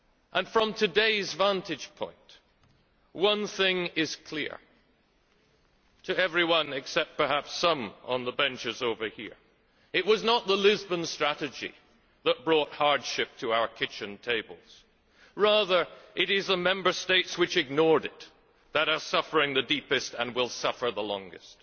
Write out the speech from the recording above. And from today's vantage point, one thing is clear to everyone except, perhaps, some on the benches to the left. It was not the Lisbon Strategy that brought hardship to our kitchen tables, rather it is the Member States which ignored it that are suffering the deepest and will suffer the longest.